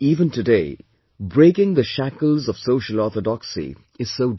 Even today breaking the shackles Social orthodoxy is so difficult